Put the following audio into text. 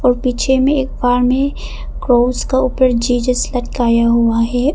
और पीछे में एक में क्रॉस के ऊपर जीजस लटकाया हुआ है।